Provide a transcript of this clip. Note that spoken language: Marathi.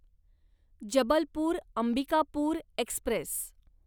जबलपूर अंबिकापूर एक्स्प्रेस